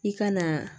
I ka na